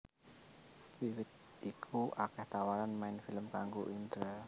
Wiwit iku akèh tawaran main film kangggo Indra